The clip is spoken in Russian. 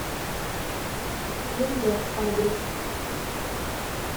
лендок адрес